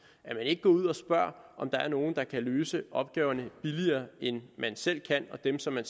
at man ikke går ud og spørger om der er nogen der kan løse opgaverne billigere end man selv og dem som man